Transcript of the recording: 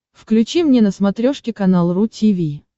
включи мне на смотрешке канал ру ти ви